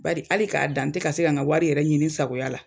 Bari ali k'a dan n te ka se ka n ka wari yɛrɛ ɲini n sagoya la